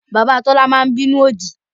Bàbá Tọ́lá máa ń bínú òdì